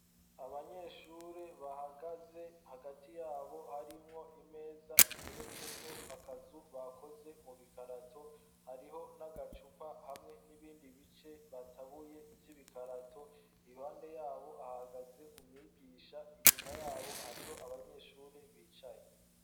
Abanyeshure bahagaze, hagati yabo harimwo imeza iteretseko akazu bakoze mu bikarato, hariho n'agacupa hamwe n'ibindi bice batabuye vy'ibikarato, iruhande yabo hahagaze umwigisha, inyuma yabo hariho abanyeshure bicaye.